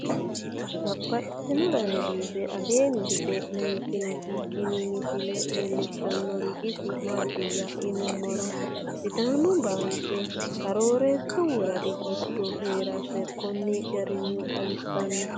Babaxxittinno daninni biiffe aleenni hige leelittannotti tinni misile lelishshanori isi maattiya yinummoro sidaamu banke arooreesu woradi giddonno heerasse konni garinni xawissanno.